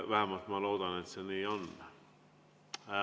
Vähemalt ma loodan, et see nii on.